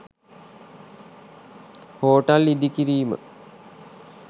hotel ඉදිකිරීම